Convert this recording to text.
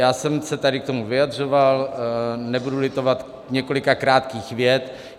Já jsem se tady k tomu vyjadřoval, nebudu litovat několika krátkých vět.